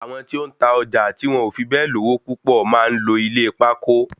Àwọn tí ó ń ta ọjà tí wọn ò fi bẹ́ẹ̀ lówó púpọ máa ń lo ilé pákó